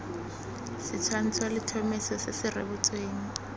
setshwantsho letlhomeso se se rebotsweng